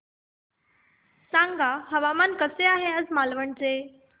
सांगा हवामान कसे आहे आज मालवण चे